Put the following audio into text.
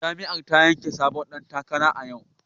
Jam'iyyar ta zabi sabon dan takara a yau